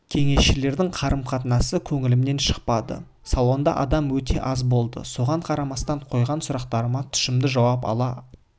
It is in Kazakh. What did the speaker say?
кеңесшілердің қарым-қатынасы көңілімнен шықпады салонда адам өте аз болды соған қарамастан қойған сұрақтарыма тұшымды жауап ала